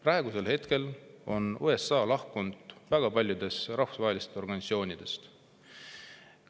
Praeguseks on USA lahkunud väga paljudest rahvusvahelistest organisatsioonidest.